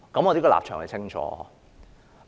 我這個立場很清晰。